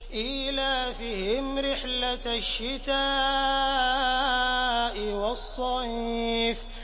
إِيلَافِهِمْ رِحْلَةَ الشِّتَاءِ وَالصَّيْفِ